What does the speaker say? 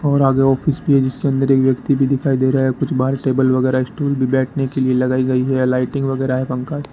और आगे ऑफिस भी है जिसके अंदर एक व्यक्ति भी दिखाई दे रहा है कुछ बाहर टेबल वगैरा स्टूल भी बैठने के लिए लगाई गई है लाइटिंग वगैरा है पंखा --